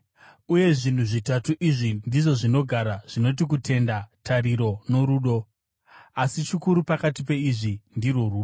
Uye zvinhu zvitatu izvi ndizvo zvinogara, zvinoti kutenda, tariro norudo. Asi chikuru pakati peizvi ndirwo rudo.